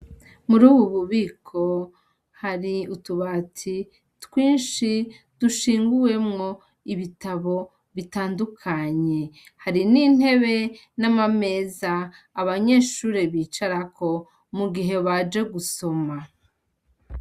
Muri uwu bubiko hari utubati twinshi dushinguwemwo ibitabo bitandukanye, hari n'intebe n'amameza abanyeshure bicarako mu gihe baje gusoma.